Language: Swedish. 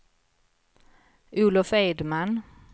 Olof Edman